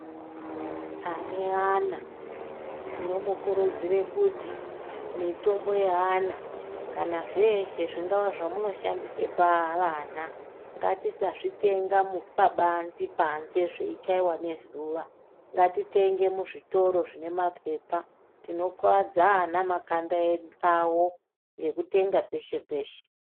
Ane ana tinomukurudzire kuti mitombo yeana kana zveshe zvingava zvamunoshandisa pavana ngatisazvitenga pabanzi panze zveichaiwe nezuwa ngatitenge muzvitoro zvine mapepa tinokuwadze ana makanda awo ngekutenga peshe -peshe.